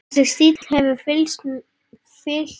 Þessi stíll hefur fylgt mér.